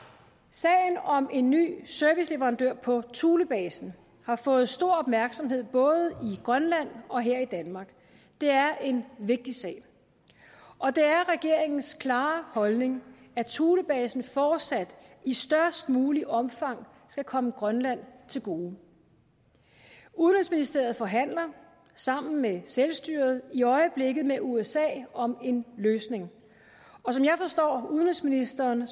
sagen om en ny serviceleverandør på thulebasen har fået stor opmærksomhed både i grønland og her i danmark det er en vigtig sag og det er regeringens klare holdning at thulebasen fortsat i størst muligt omfang skal komme grønland til gode udenrigsministeriet forhandler sammen med selvstyret i øjeblikket med usa om en løsning og som jeg forstår udenrigsministeren